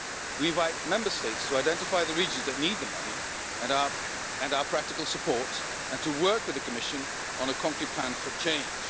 We invite Member States to identify the regions that need the money and our practical support and to work with the Commission on a concrete plan for change.